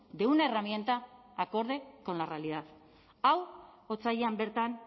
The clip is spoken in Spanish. de una herramienta acorde con la realidad hau otsailean bertan